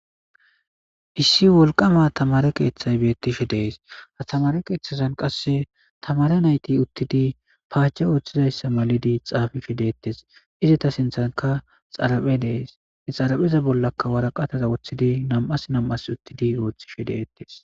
issi wolqama tamare keeththay beettishe dees atamare keeththazan qasse tamare nayti uttidi paace ooththizayssa malidi xaafi shedeettes izeta sinthanka xaraphe dees xarapheza bollaka waraqataza woththidi nam7as nam7as uttidi ooththishe deettes